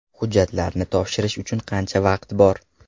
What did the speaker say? Hujjatlarni topshirish uchun qancha vaqt bor?